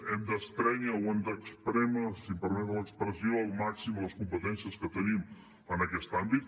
hem d’estrènyer o hem d’esprémer si em permeten l’expressió al màxim les competències que tenim en aquest àmbit